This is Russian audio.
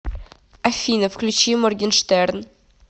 афина включи моргенштерн